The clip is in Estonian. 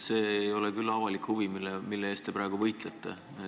See ei ole küll avalik huvi, mille eest te praegu võitlete.